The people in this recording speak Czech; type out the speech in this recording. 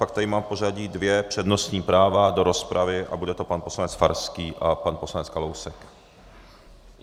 Pak tady mám v pořadí dvě přednostní práva do rozpravy a bude to pan poslanec Farský a pan poslanec Kalousek.